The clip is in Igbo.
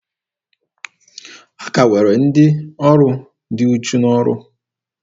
A ka nwere ndị ọrụ dị uchu n'ọrụ.